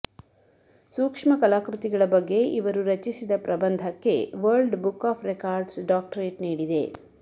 ಸೂಕ್ಷ್ಮ ಕಲಾಕೃತಿಗಳ ಬಗ್ಗೆ ಇವರು ರಚಿಸಿದ ಪ್ರಬಂಧಕ್ಕೆ world book of records doctorate ನೀಡಿದೆ